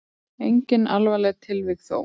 Engin alvarleg tilvik þó.